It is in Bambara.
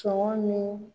Sɔngɔ min